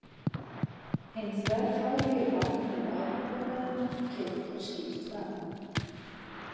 Hinn þverfaglegi bakgrunnur afbrotafræðinnar kemur hér skýrt fram.